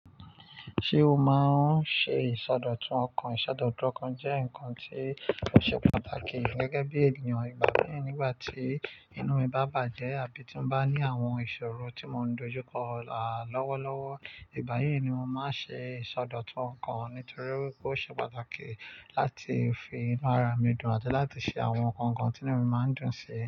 Ṣé o máa ń ṣe ìsọdọ̀tun ọkàn? Ìsọdọ̀tun ọkàn jẹ́ nǹkan tí ó ṣe pàtàkì gẹ́gẹ́ bí ènìyàn. Ìgbà mìíràn nígbà tí inú mi bá bàjẹ́ àbí tí mo bá ní àwọn ìṣòro tí mò ń dojú kọ, àlọ́wọ́lọ́wọ́, ìgbà yí ni mo máa ń ṣe ìsọdọ̀tun ọkàn nítorí pé ó ṣe pàtàkì láti fi inu ara mi dùn àti láti ṣe àwọn nǹkan kan tí inú mi máa ń dùn sí.